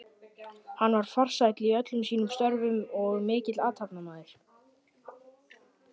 Hann var farsæll í öllum sínum störfum og mikill athafnamaður.